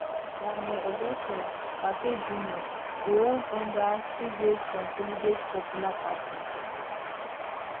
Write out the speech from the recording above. daniel augustus lartey jnr dey run under su great consolidate popular party